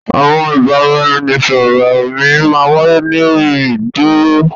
Àwọn ìbàràẹ̀nisọ̀rọ̀ mi má n wàíyé lórí ì dúró.